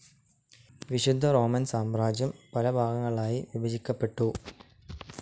വിശുദ്ധ റോമൻ സാമ്രാജ്യം പലഭാഗങ്ങളായി വിഭജിക്കപ്പെട്ടു.